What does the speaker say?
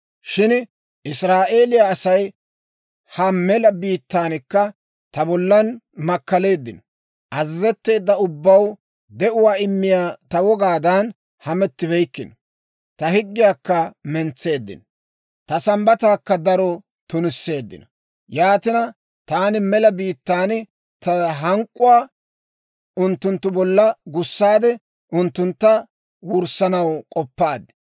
« ‹Shin Israa'eeliyaa Asay ha mela biittaankka ta bollan makkaleeddino. Azazetteedda ubbaw de'uwaa immiyaa ta wogaadan hamettibeykkino; ta higgiyaakka mentseeddino; ta Sambbataakka daro tunisseeddino. Yaatina, taani mela biittaan ta hank'k'uwaa unttunttu bolla gussaade, unttuntta wurssanaw k'oppaad.